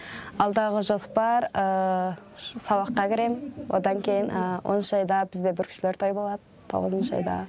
алдағы жоспар сабаққа кірем одан кейін оныншы айда бізде бүркітшілер тойы болады тоғызыншы айда